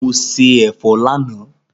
Mo se ẹ̀fọ́ lánàá